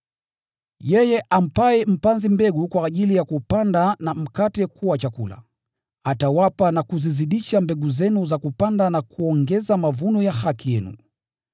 Yeye ampaye mpanzi mbegu kwa ajili ya kupanda na mkate kuwa chakula, atawapa na kuzizidisha mbegu zenu za kupanda na kuongeza mavuno ya haki yenu.